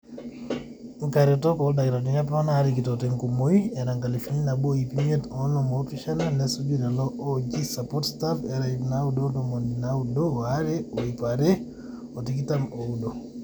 inkaretok oldakitarini apa naarikito tenkumoi era enkalifu nabo ip imiet onom oopishana nesuju lelo ooji support staff era ip naaudo ontomoni naaudo oare o ip are otikitam ooudo